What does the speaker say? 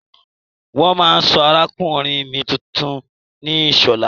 Wọ́n máa sọ arákùnrin mi tuntun ní Ìṣọ̀lá.